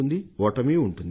ఓటమీ ఉంటుంది